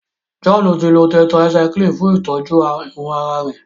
John tí lọ tetracycline fún itọjú àrùn àrà rẹ.